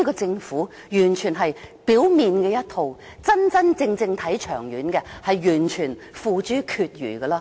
政府只做表面工夫，真真正正長遠的工作，卻付諸闕如。